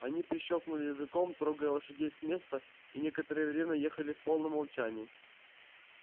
они прищёлкнули языком трогая лошадей с места и некоторое время ехали в полном молчании